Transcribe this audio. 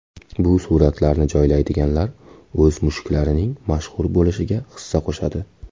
Bu suratlarni joylaydiganlar o‘z mushuklarining mashhur bo‘lishiga hissa qo‘shadi.